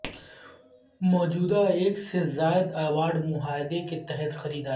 موجودہ ایک سے زیادہ ایوارڈ معاہدہ کے تحت خریداری